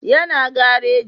Ya na gareji